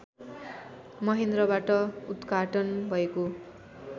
महेन्द्रबाट उद्घाटन भएको